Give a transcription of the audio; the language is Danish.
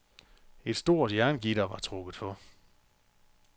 Et stort jerngitter var trukket for.